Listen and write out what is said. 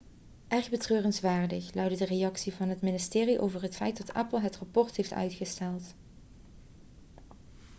erg betreurenswaardig' luidde de reactie van het ministerie over het feit dat apple het rapport heeft uitgesteld